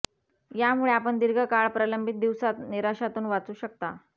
यामुळे आपण दीर्घ काळा प्रलंबीत दिवसात निराशातून वाचू शकता